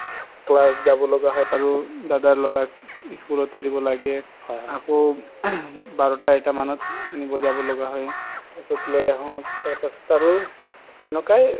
কৰবাত যাব লগিয়া হয় আৰু দাদাৰ লৰাক school দি দিব লাগে আকৌ বাৰতা এটা মানত আনিব যাব লাগা হয় তাৰ পিছত লই আহো পাছত আৰু সেনেকায়ে